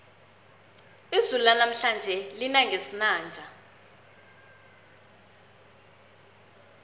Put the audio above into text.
izulu lanamhlanje lina ngesinanja